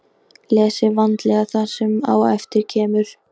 Lesið vandlega það sem á eftir kemur.